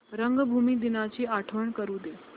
रंगभूमी दिनाची आठवण करून दे